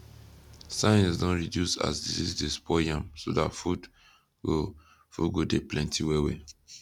science don reduce as disease dey spoil yam so that food go food go de plenty well well